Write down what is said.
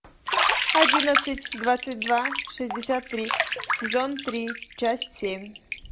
одиннадцать двадцать два шестьдесят три сезон три часть семь